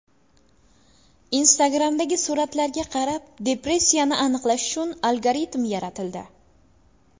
Instagram’dagi suratlarga qarab depressiyani aniqlash uchun algoritm yaratildi.